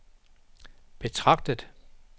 betragtet